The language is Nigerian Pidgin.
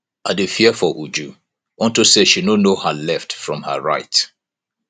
i dey fear for uju unto say she no know her left from her right